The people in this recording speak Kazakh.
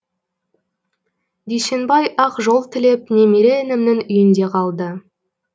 дүйсенбай ақ жол тілеп немере інімнің үйінде қалды